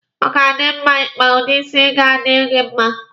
Ọ ga-adi mma Ị kpa udi isi ga-adi gị mma.